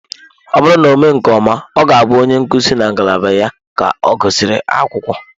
Ọ bụrụ na ọ mee nke ọma, ọ ga-abụ onye nkuzi na ngalaba ya ka ọ gụsịrị akwụkwọ.